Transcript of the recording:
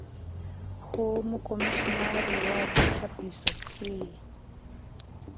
ho mokomishenare wa ditlhapiso p